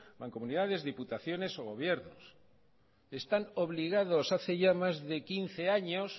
mancomunidades diputaciones o gobiernos están obligados hace ya más de quince años